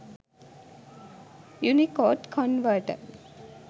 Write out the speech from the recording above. unicode converter